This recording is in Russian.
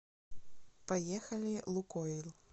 поехали лукойл